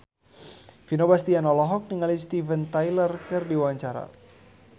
Vino Bastian olohok ningali Steven Tyler keur diwawancara